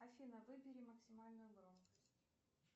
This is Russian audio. афина выбери максимальную громкость